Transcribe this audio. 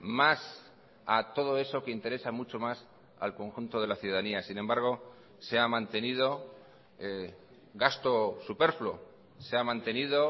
más a todo eso que interesa mucho más al conjunto de la ciudadanía sin embargo se ha mantenido gasto superfluo se ha mantenido